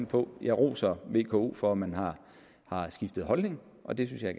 på jeg roser vko for at man har skiftet holdning og det synes jeg